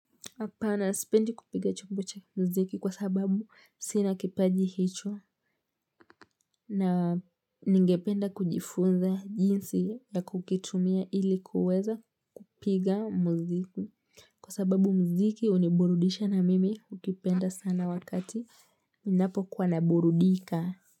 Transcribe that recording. Hpana sipendi kupiga chombo cha muziki kwa sababu sinakipaji hicho na ningependa kujifunza jinsi ya kukitumia ilikuweza kupiga muziki kwa sababu muziki uniburudisha na mimi ukipenda sana wakati ninapo kuwa naburudika.